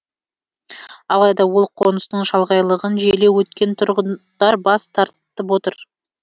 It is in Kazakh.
алайда ол қоныстың шалғайлығын желеу еткен тұрғындар бас тартып отыр